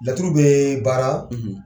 Laturu bee baaraa.